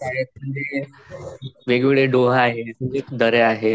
डोह आहेत, दर्या आहेत.